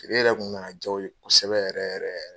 yɛrɛ kun na na jaa o ye kosɛbɛ yɛrɛ yɛrɛ.